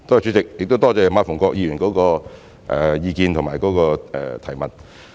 主席，多謝馬逢國議員的意見和補充質詢。